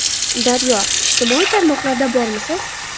Daryo: Ijtimoiy tarmoqlarda bormisiz?